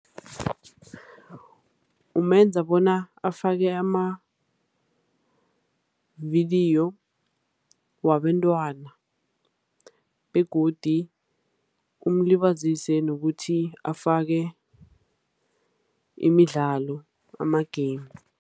Kumenza bona afake amavidiyo wabentwana, begodu umlibazise ngokuthi afake imidlalo, ama-game.